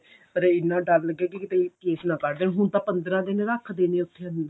ਪਰ ਇੰਨਾ ਡਰ ਲੱਗੇ ਕੀ ਕਿਤੇ case ਨਾ ਕਰ ਦੇਣ ਹੁਣ ਤਾਂ ਪੰਦਰਾਂ ਦਿਨ ਰੱਖਦੇ ਨੇ ਉੱਥੇ